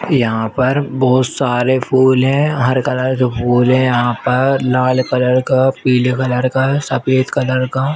यहाँ पर बोहोत सारे फूल है। हर कलर के फूल है यहाँ पर लाल कलर क पीले कलर का सफेद कलर का।